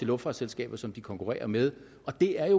luftfartsselskaber som de konkurrerer med og det er jo